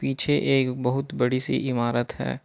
पीछे एक बहुत बड़ी सी इमारत है।